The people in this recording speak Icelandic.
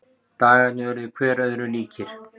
Dagarnir urðu hver öðrum líkir.